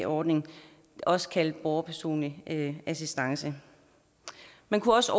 ordning også kaldet borgerpersonlig assistance man kunne også